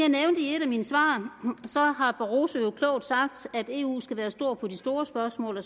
et af mine svar har barroso jo klogt sagt at eu skal være stor på de store spørgsmål og